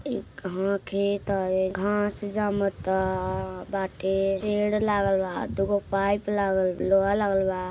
एक कह खेत हये। घास जामत बाटे। पेड़ लागल बा। दो गो पाइप लागल बा। लोहा लगल बा।